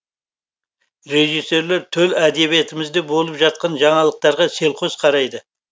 режиссерлер төл әдебиетімізде болып жатқан жаңалықтарға селқос қарайды